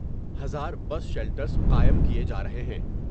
ہزار bus shelters قائم کئے جار ہے ہیں ۔